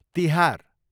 Tihar